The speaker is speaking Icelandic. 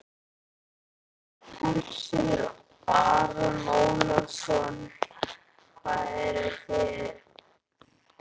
Hersir Aron Ólafsson: Og hvað eruð þið?